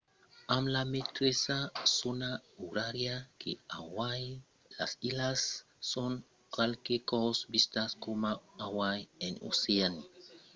amb la meteissa zòna orària que hawaii las islas son qualques còps vistas coma un hawaii en oceania